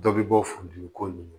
Dɔ bɛ bɔ furu dimi ko nunnu